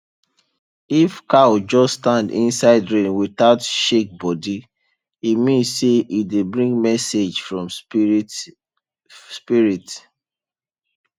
if cow just stand inside rain without shake body e mean say e dey bring message from spirit spirit